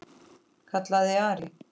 kallaði Ari.